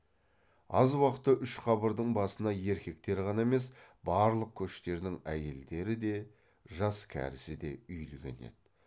аз уақытта үш қабырдың басына еркектер ғана емес барлық көштердің әйелдері де жас кәрісі де үйілген еді